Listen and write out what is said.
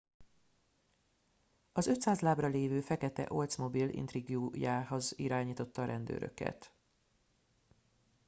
az 500 lábra lévő fekete oldsmobile intrigue jéhez irányította a rendőröket